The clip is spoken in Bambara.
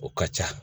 O ka ca